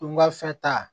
Don gafe ta